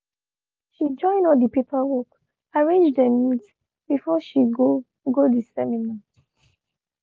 she join all de paperwork arranged dem neat before she go go de seminar.